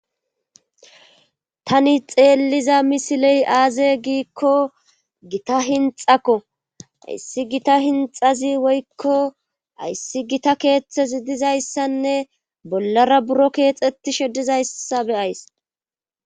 Tani xeelliza misiley aaze giikko gita hinxakko ayssi gita hinxazi woykko ayssi gita keeththezi dizayssanne bollara buro keexxeti she dizayssa beyays